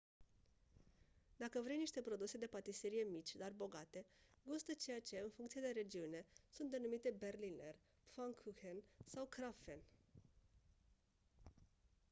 dacă vrei niște produse de patiserie mici dar bogate gustă ceea ce în funcție de regiune sunt denumite berliner pfannkuchen sau krapfen